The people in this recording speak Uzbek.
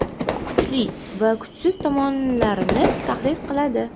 Kuchli va kuchsiz tomonlarini tahlil qiladi.